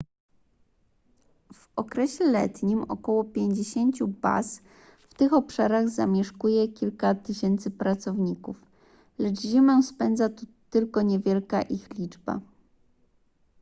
w okresie letnim około pięćdziesięciu baz w tych obszarach zamieszkuje kilka tysięcy pracowników lecz zimę spędza tu tylko niewielka ich liczba